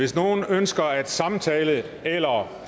hvis nogle ønsker at samtale eller